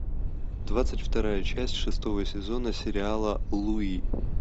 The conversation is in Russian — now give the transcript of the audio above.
двадцать вторая часть шестого сезона сериала луи